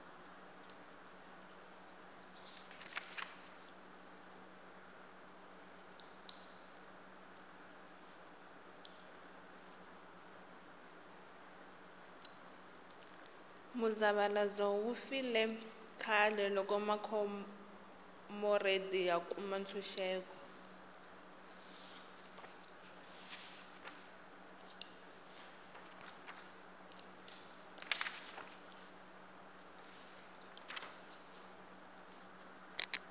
muzavalazo wu file khale loko makhomoredi ya kuma ntshuxeko